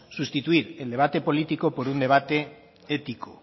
sustituir el debate político por un debate ético